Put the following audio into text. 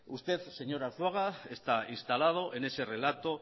usted señor arzuaga está instalado en ese relato